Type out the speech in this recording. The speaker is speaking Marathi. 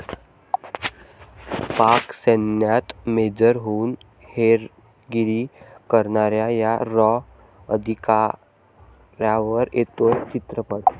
पाक सैन्यात मेजर होऊन हेरगिरी करणाऱ्या या 'रॉ' अधिकाऱ्यावर येतोय चित्रपट